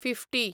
fifty